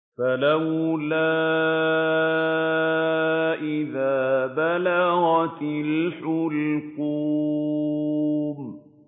فَلَوْلَا إِذَا بَلَغَتِ الْحُلْقُومَ